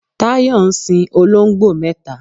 Tayo ń sin olongbo mẹta